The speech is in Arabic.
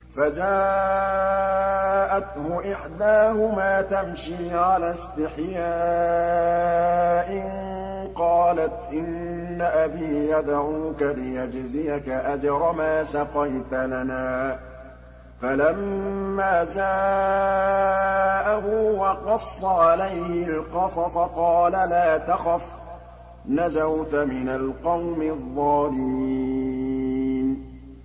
فَجَاءَتْهُ إِحْدَاهُمَا تَمْشِي عَلَى اسْتِحْيَاءٍ قَالَتْ إِنَّ أَبِي يَدْعُوكَ لِيَجْزِيَكَ أَجْرَ مَا سَقَيْتَ لَنَا ۚ فَلَمَّا جَاءَهُ وَقَصَّ عَلَيْهِ الْقَصَصَ قَالَ لَا تَخَفْ ۖ نَجَوْتَ مِنَ الْقَوْمِ الظَّالِمِينَ